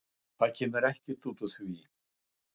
Það kemur ekkert út úr því.